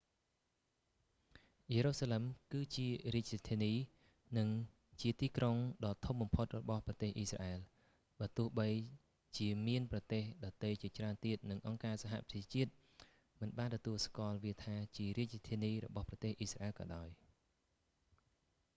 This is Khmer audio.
យេរូសាឡឹម គឺជារាជធានី និងជាទីក្រុងដ៏ធំបំផុតរបស់ប្រទេសអ៊ីស្រាអែល បើទោះជាមានប្រទេសដទៃជាច្រើនទៀត និងអង្គការសហប្រជាជាតិមិនបានទទួលស្គាល់វាថា ជារាជធានីរបស់ប្រទេស អ៊ីស្រាអែលក៏ដោយ